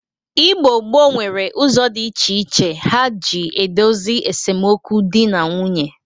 Igbo gboo nwere ụzọ dị iche iche ha ji edosi esemokwu dị na nwunye.